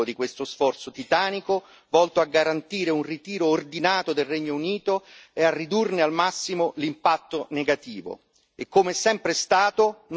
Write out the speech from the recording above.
Siamo ora a un passaggio decisivo di questo sforzo titanico volto a garantire un ritiro ordinato del Regno Unito e a ridurne al massimo l'impatto negativo.